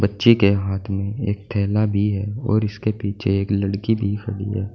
बच्ची के हाथ में एक थैला भी है और इसके पीछे एक लड़की भी खड़ी है।